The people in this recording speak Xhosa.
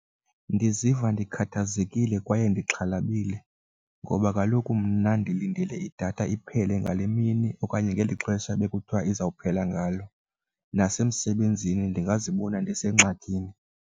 Ndiziva ndikhathazekile kwaye ndixhalabile ngoba kaloku mna ndilindele idatha iphele ngale mini okanye ngeli xesha bekuthiwa izawuphela ngalo, nasemsebenzini ndingazibona ndisengxakini.